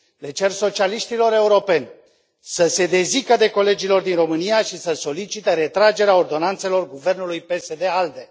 Le cer socialiștilor europeni să se dezică de colegii lor din România și să solicite retragerea ordonanțelor guvernului PSD ALDE.